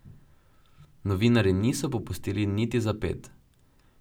Novinarji niso popustili niti za ped.